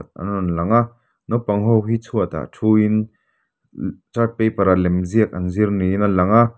an rawn lang a naupangho hi chhuatah thuin chart paper ah lemziak an zir niin a lang a.